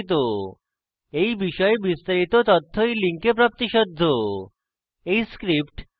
এই বিষয়ে বিস্তারিত তথ্য এই link প্রাপ্তিসাধ্য